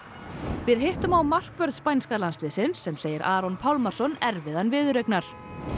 við hittum á markvörð spænska landsliðsins sem segir Aron Pálmarsson erfiðan viðureignar